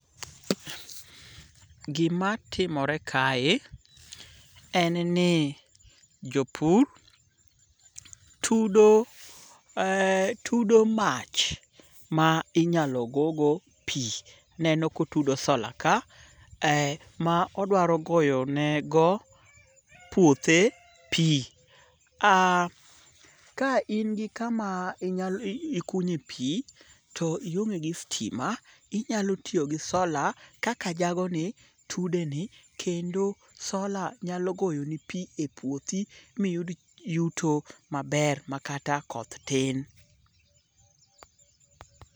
Gimatimore kae en ni jopur tudo mach ma inyalo gogo pi, aneno kotudo solar ka, ma odwaro goyo nego puothe pi. Ka in gi kama ikunye pi, to ionge gi stima, inyalo tiyo gi solar kaka jagoni tudeni, kendo solar nyalo goyoni pi e puothi miyud yuto maber makata koth tin.